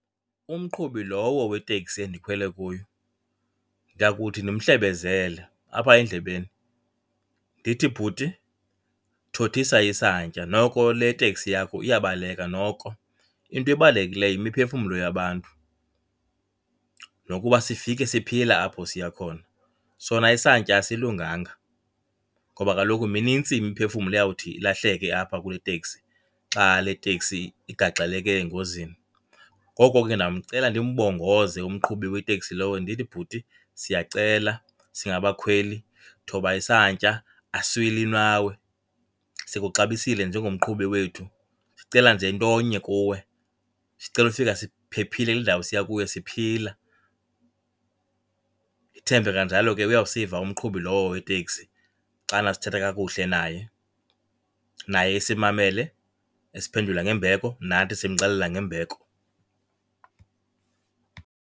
Umqhubi lowo weteksi endikhwele kuyo ndiyakuthi ndimhlebezele apha endlebeni. Ndithi, bhuti, thothisa isantya, noko le teksi yakho iyabaleka noko. Into ebalulekileyo yimiphefumlo yabantu nokuba sifike siphila apho siya khona, sona isantya asilunganga ngoba kaloku minintsi imiphefumlo eyawuthi ilahleke apha kule teksi xa le teksi igaxeleke engozini. Ngoko ke ndawumcela ndimbongoze umqhubi weteksi lowo. Ndithi, bhuti, siyacela singabakhweli thoba isantya. Asilwi nawe sikuxabisile njengomqhubi wethu, sicela nje ntonye kuwe, sicela ukufika siphephile kule ndawo siya kuyo sifike siphila. Ndithembe kanjalo ke uyawusiva umqhubi lowo weteksi xana sithetha kakuhle naye, naye esimamele esiphendula ngembeko, nathi simxelela ngembeko.